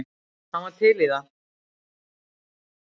Hann var til í það.